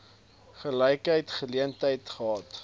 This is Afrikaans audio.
gelyke geleenthede gehad